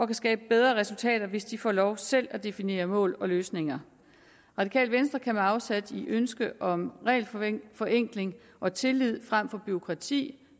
kan skabe bedre resultater hvis de får lov til selv at definere mål og løsninger radikale venstre kan med afsæt i ønsket om regelforenkling og tillid frem for bureaukrati